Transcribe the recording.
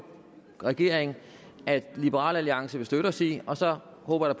regering at liberal alliance vil støtte os i og så håber jeg